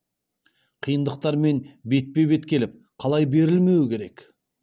қиындықтармен бетпе бет келіп қалай берілмеу керек